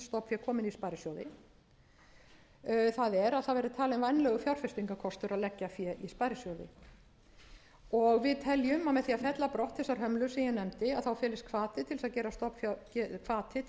stofnfé komi inn í sparisjóði það er að það verði talinn vænlegur fjárfestingarkostur að leggja fé inn í sparisjóði við teljum að með því að fella brott þær hömlur sem ég nefndi felist hvati til þess